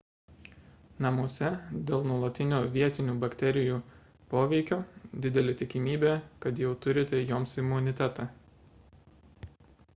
namuose dėl nuolatinio vietinių bakterijų poveikio didelė tikimybė kad jau turite joms imunitetą